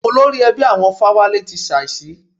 Olórí ẹbí àwọn Fáwálé ti ṣàísí.